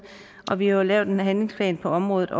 og vi har lavet en handlingsplan på området